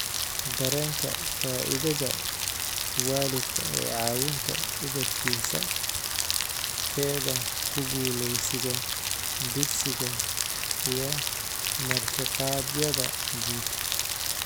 Dareenka faa'iidada waalidka ee caawinta ubadkiisa/keeda ku guuleysiga dugsiga iyo martiqaadyada guud.